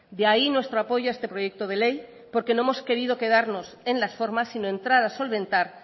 de ahí nuestro apoyo a este proyecto de ley porque no hemos querido quedarnos en las formas sino entrar a solventar